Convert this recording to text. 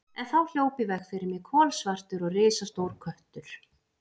En þá hljóp í veg fyrir mig kolsvartur og risastór köttur.